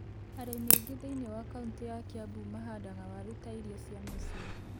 Arĩmi aingĩ thĩiniĩ wa kaunitĩ ya Kĩambu mahandaga waru ta irio cia mũciĩ.